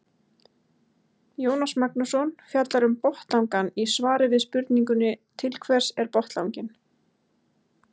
Jónas Magnússon fjallar um botnlangann í svari við spurningunni Til hvers er botnlanginn?